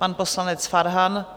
Pan poslanec Farhan.